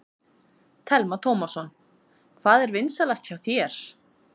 Telma Tómasson: Hvað er vinsælast hjá þér?